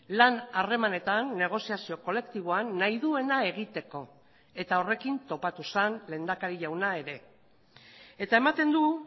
lan harremanetan negoziazio kolektiboan nahi duena egiteko eta horrekin topatu zen lehendakari jauna ere eta ematen du